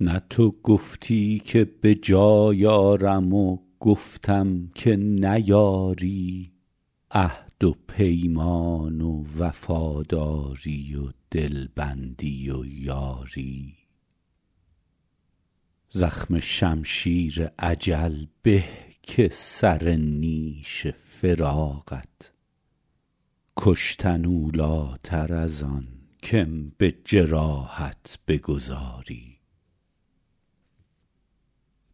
نه تو گفتی که به جای آرم و گفتم که نیاری عهد و پیمان و وفاداری و دلبندی و یاری زخم شمشیر اجل به که سر نیش فراقت کشتن اولاتر از آن که م به جراحت بگذاری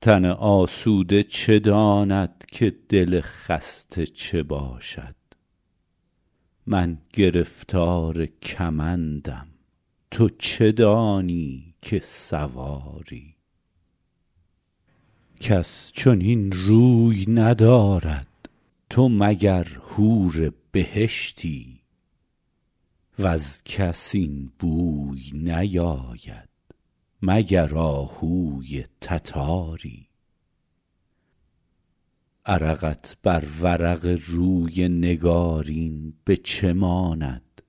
تن آسوده چه داند که دل خسته چه باشد من گرفتار کمندم تو چه دانی که سواری کس چنین روی ندارد تو مگر حور بهشتی وز کس این بوی نیاید مگر آهوی تتاری عرقت بر ورق روی نگارین به چه ماند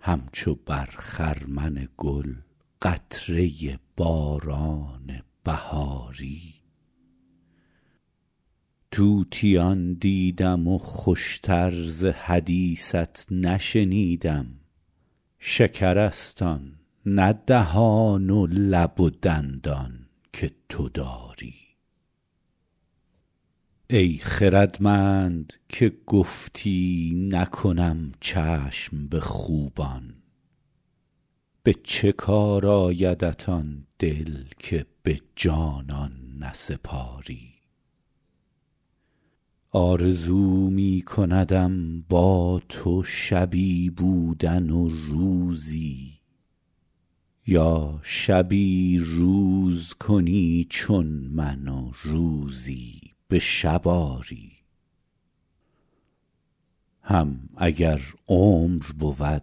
همچو بر خرمن گل قطره باران بهاری طوطیان دیدم و خوش تر ز حدیثت نشنیدم شکرست آن نه دهان و لب و دندان که تو داری ای خردمند که گفتی نکنم چشم به خوبان به چه کار آیدت آن دل که به جانان نسپاری آرزو می کندم با تو شبی بودن و روزی یا شبی روز کنی چون من و روزی به شب آری هم اگر عمر بود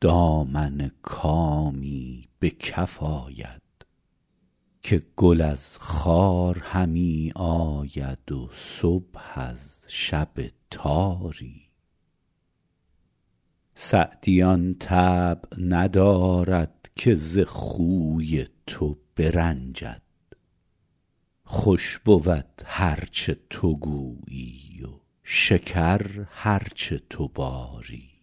دامن کامی به کف آید که گل از خار همی آید و صبح از شب تاری سعدی آن طبع ندارد که ز خوی تو برنجد خوش بود هر چه تو گویی و شکر هر چه تو باری